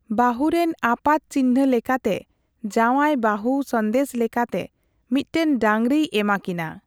ᱵᱟᱹᱦᱩ ᱨᱮᱱ ᱟᱯᱟᱛ ᱪᱤᱱᱦᱟᱹ ᱞᱮᱠᱟᱛᱮ ᱡᱟᱣᱟᱭ ᱵᱟᱹᱦᱩ ᱥᱟᱸᱫᱮᱥ ᱞᱮᱠᱟᱛᱮ ᱢᱤᱫᱴᱟᱝ ᱰᱟᱸᱹᱜᱽᱨᱤᱭ ᱮᱢᱟᱠᱤᱱᱟ ᱾